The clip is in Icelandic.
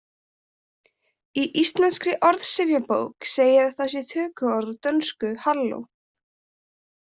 Í Íslenskri orðsifjabók segir að það sé tökuorð úr dönsku hallo.